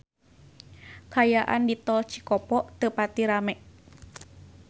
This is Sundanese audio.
Kaayaan di Tol Cikopo teu pati rame